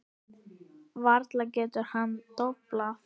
Varla getur hann doblað.